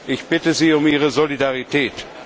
Ich bitte Sie um Ihre Solidarität.